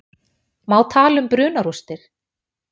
Má tala um brunarústir?